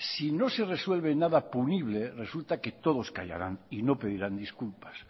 si no se resuelve punible resulta que todos callarán y no pedirán disculpas